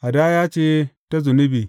Hadaya ce ta zunubi.